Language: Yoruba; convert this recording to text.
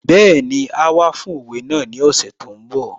Bẹ́ẹ̀ni, áá wá fún òwe náà ní ọ̀sẹ̀ tó ń bọ̀